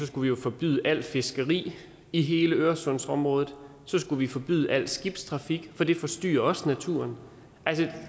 skulle vi jo forbyde alt fiskeri i hele øresundsområdet og så skulle vi forbyde al skibstrafik for det forstyrrer også naturen